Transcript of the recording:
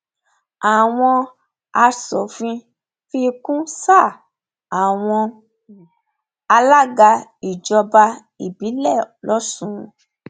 àwọn aṣòfin fi kún sáà àwọn um alága ìjọba ìbílẹ lọsùn um